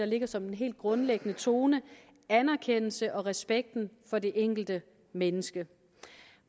ligger som en helt grundlæggende tone anerkendelse og respekt for det enkelte menneske